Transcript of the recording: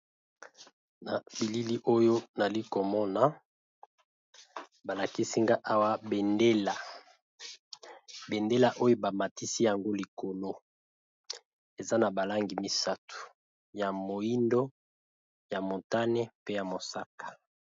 Na bilili oyo nali komona ba lakisi nga awa bendela oyo ba matisi yango likolo eza na ba langi misato ya moyindo, ya montane, pe ya mosaka.